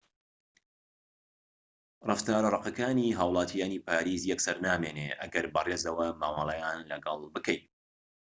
ڕەفتارە ڕەقەکانی هاوڵاتیانی پاریس یەکسەر نامێنێت ئەگەر بەڕێزەوە مامەڵەیان لەگەڵ بکەیت